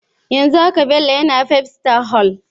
Yanzun haka Bello na Five Star Hoel.